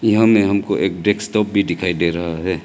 यहां मे हमको एक डेस्कटॉप भी दिखाई दे रहा है।